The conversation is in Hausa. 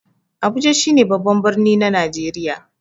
Abuja shi ne babban birni na Najeriya.